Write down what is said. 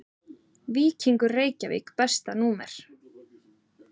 Víkingur Reykjavík Besta númer?